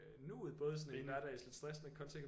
Nuet både sådan en lidt stressende kontekst